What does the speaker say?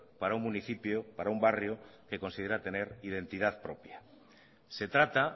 para un municipio para un barrio que considera tener identidad propia se trata